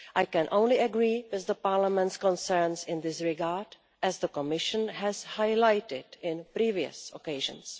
I can only agree with Parliament's concerns in this regard, as the Commission has highlighted on previous occasions.